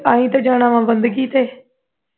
ਐਸੀ ਤੇ ਜਾਣਾ ਵਾਂ ਬੰਦਗੀ ਤੇ